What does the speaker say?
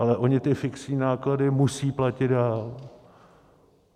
Ale oni ty fixní náklady musí platit dál.